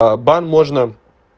а бан можно